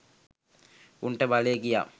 උන්ට බලය ගියා